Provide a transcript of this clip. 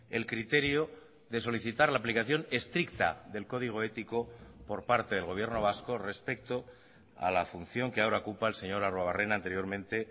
el criterio de solicitar la aplicación estricta del código ético por parte del gobierno vasco respecto a la función que ahora ocupa el señor arruebarrena anteriormente